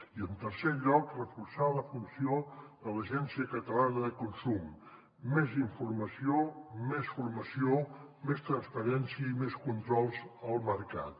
i en tercer lloc reforçar la funció de l’agència catalana del consum més informació més formació més transparència i més controls al mercat